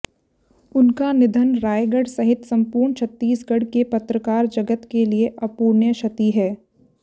उनका निधन रायगढ़ सहित सम्पूर्ण छत्तीसगढ़ के पत्रकार जगत के लिए अपूरणीय क्षति है